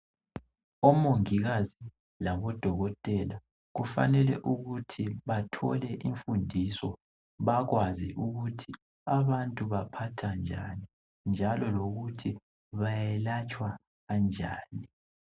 Omongikazi labodokotela kufanele ukuthi bathole imfundiso, bakwazi ukuthi abantu baphathwa njani njalo lokuthi bayelatshwa kanjani.